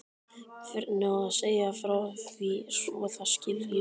Hvernig á að segja frá því svo það skiljist?